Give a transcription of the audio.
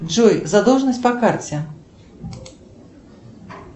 джой задолженность по карте